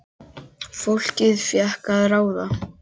Fólkið fékk að ráða.